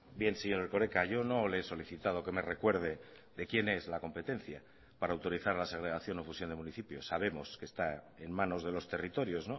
bien señor erkoreka yo no le he solicitado que me recuerde de quién es la competencia para autorizar la segregación o fusión de municipios sabemos que está en manos de los territorios